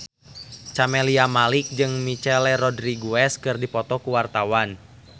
Camelia Malik jeung Michelle Rodriguez keur dipoto ku wartawan